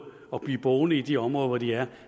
og blive boende i de områder hvor de er